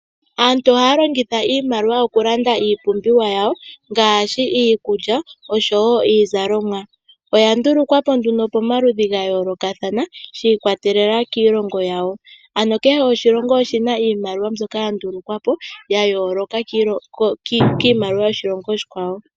Aantu ohaya longitha iimaliwa oku landa iipumbiwa yawo iikulya osho woo iizalomwa. Oya ndulukwapo nduno pamaludhi gayoolokathana shiikwatelela kiilongo yawo, ano kehe oshilongo oshina iimaliwa mbyoka ya ndulukwa po yayooloka kiimaliwa yoshilongo oshikwawo.